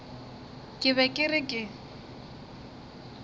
ke be ke re ke